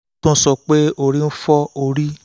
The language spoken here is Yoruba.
ó tún sọ pé orí ń fọ́ orí ń fọ́ òun díẹ̀ díẹ̀